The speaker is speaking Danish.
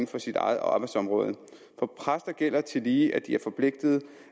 for sit eget arbejdsområde for præster gælder tillige at de er forpligtede